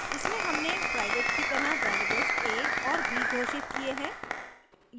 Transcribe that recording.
इसमें हमने प्राइवेट की तरह variables a और b घोषित किये हैं